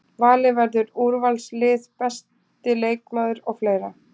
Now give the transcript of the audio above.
Valið verður úrvalslið, besti leikmaður og fleira.